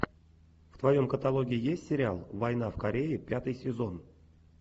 в твоем каталоге есть сериал война в корее пятый сезон